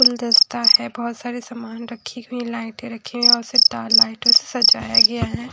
गुलदस्ता है बहोत सारे समान रखी हुईं लाइटें रखी और तार लाइटों से सजाया गया है।